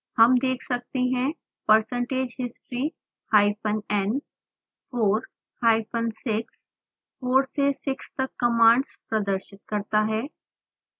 हम देख सकते हैं percentage history hyphen n 4 hyphen 6 4 से 6 तक कमांड्स प्रदर्शित करता है